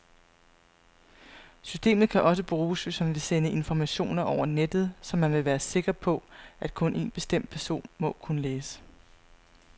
Systemet kan også bruges, hvis man vil sende informationer over nettet, som man vil være sikker på, at kun en bestemt person må kunne læse.